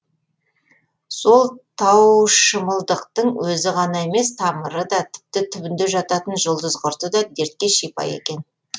сол таушымылдықтың өзі ғана емес тамыры да тіпті түбінде жататын жұлдызқұрты да дертке шипа екен